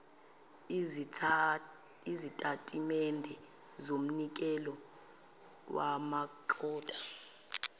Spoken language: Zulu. izitatimende zomnikelo wamakota